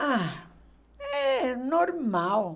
Ah, é normal.